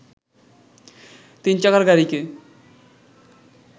তিন চাকার গাড়িকে